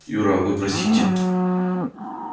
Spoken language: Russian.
юра а вы простите